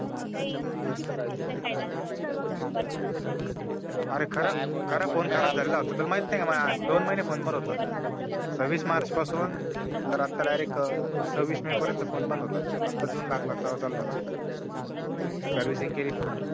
अरे दोन महिने फोन बंद होता सववीस मार्च पासून तर आता डायरेक्टआता सव्वीस मे पर्यंत फोनबंद होता आता जून लागला तेव्हा चालू झाला फोन केली फोन ची